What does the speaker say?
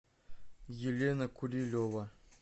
елена курилева